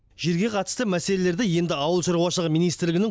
жерге қатысты мәселелерді енді ауыл шаруашылығы министрлігінің